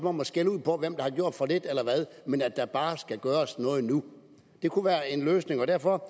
om at skælde ud over hvem der nu har gjort for lidt eller hvad men at der bare skal gøres noget nu det kunne være en løsning og derfor